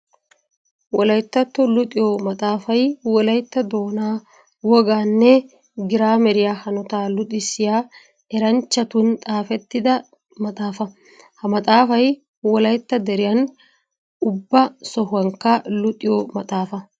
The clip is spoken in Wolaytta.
Wolayttatto luxiyo maxafay wolaytta doona woganne giraameriya hanotta luxissiya eranchchattun xaafettidda maxafa. Ha maxafay wolaytta deriyan ubba sohuwankka luxiyo maxafa.